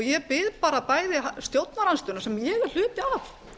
ég bið bara bæði stjórnarandstöðuna sem ég er hluti af